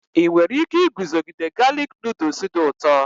Ị nwere ike iguzogide galik nuduls dị ụtọ?